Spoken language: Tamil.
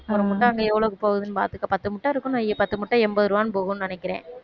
ஒரு முட்டை அங்க எவ்வளவுக்கு போகுதுன்னு பாத்துக்க பத்து முட்டை இருக்குன்னு வை பத்து முட்டை எண்பது ரூபாய்ன்னு போகும்ன்னு நினைக்கிற